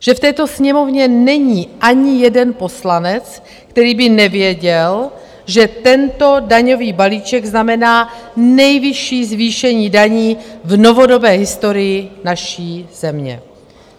Že v této Sněmovně není ani jeden poslanec, který by nevěděl, že tento daňový balíček znamená nejvyšší zvýšení daní v novodobé historii naší země.